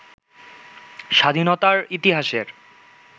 স্বাধীনতার ইতিহাসের